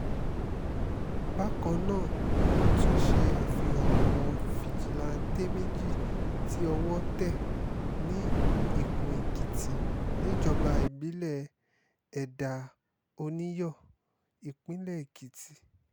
bákan náà ni wọ́n tún ṣe àfihàn àwọn fijilantànté méjì tí owó tẹ̀ ní ìkún-èkìtì níjọba ìbílẹ̀ ẹ̀dà-oníyọ ìpínlẹ̀ èkìtì